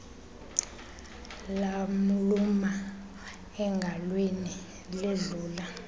lamluma engalweni ledlula